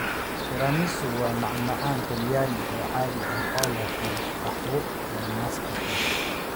Tiramisu waa macmacaan Talyaani oo caadi ah oo leh qaxwo iyo mascarpone.